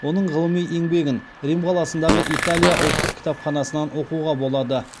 оның ғылыми еңбегін рим қаласындағы италия ұлттық кітапханасынан оқуға болады